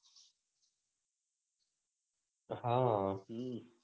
હા હમ